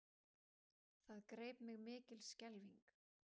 Það greip mig skelfing.